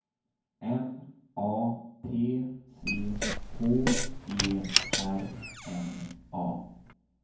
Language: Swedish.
M A T C H E R N A